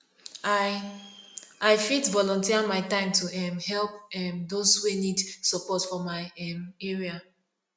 i i fit volunteer my time to um help um those wey need support for my um area